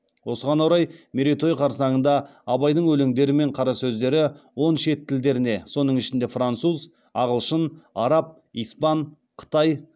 осыған орай мерейтой қарсаңында абайдың өлеңдері мен қарасөздері он шет тілдеріне соның ішінде француз ағылшын араб испан қытай